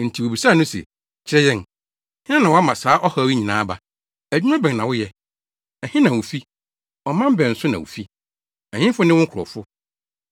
Enti wobisaa no se, “Kyerɛ yɛn, hena na wama saa ɔhaw yi nyinaa aba? Adwuma bɛn na woyɛ? Ɛhe na wufi? Ɔman bɛn so na wufi? Ɛhefo ne wo nkurɔfo?”